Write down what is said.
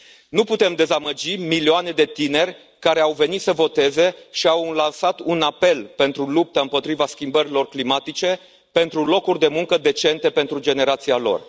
Nu putem dezamăgi milioane de tineri care au venit să voteze și au lansat un apel pentru luptă împotriva schimbărilor climatice, pentru locuri de muncă decente pentru generația lor.